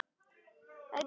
Hún var æf af reiði.